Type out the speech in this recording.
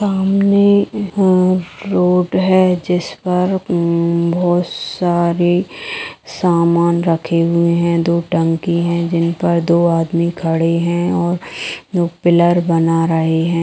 सामने रोड है जिस पर दो आदमी खड़े हुए हैं और पिलर बना रहे हैं |